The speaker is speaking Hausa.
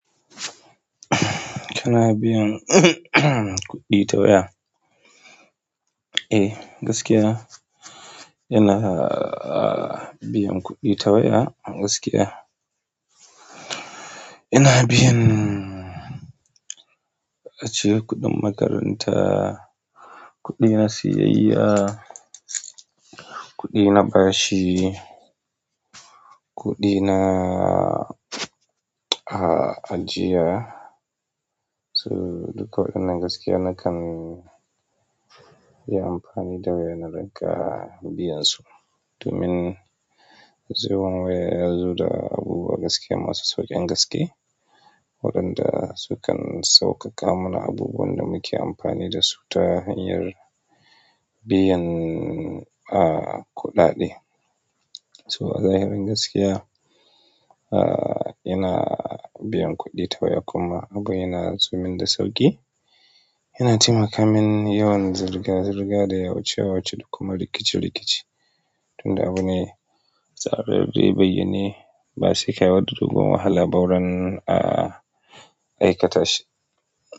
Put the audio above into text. Kana biyan kuɗi ta waya? Eh, gaskiya. Ina biyan kuɗi ta waya a gaskiya. Ina biyan, ace kuɗin makaranta, kuɗi na siyayya, kuɗi na bashi, kuɗi na ajiya. So duka waɗannan gaskiya nakan yi amfani da waya na daga biyansu. Domin zuwan waya yazo da abubuwa gaskiya masu sauƙin gaske. Waɗanda sukan sauƙaƙa mana abubuwan da muke amfani dasu ta hanyar biyan a kuɗaɗe. So a zahirin gaskiya, a ina biyan kuɗi ta waya kuma abubuwan yana zuwa min da sauƙi. Yana taimaka min yawan zirga-zirga da yawace-yawace duk kuma rikice-rikice. Tunda abune sababbe bayyane ba saika sha wata dogon wahala ba zurin aikata shi.